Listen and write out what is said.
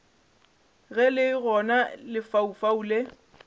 ge le gona lefaufau le